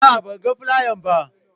A'a, ban gan flayan ba.